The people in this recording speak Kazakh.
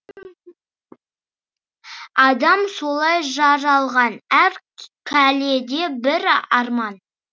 адам солай жаралған әр кәлледа бір арман